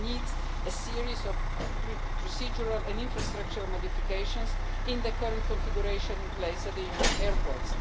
This needs a series of procedural and infrastructural modifications to the current configuration in place at Union airports.